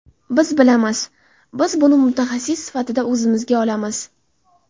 Biz bilamiz, biz buni mutaxassis sifatida o‘zimizga olamiz.